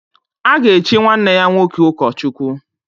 A ga-echi nwanne ya nwoke ụkọchukwu.